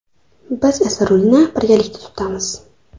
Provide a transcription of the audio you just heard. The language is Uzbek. Biz esa rulni birgalikda tutamiz.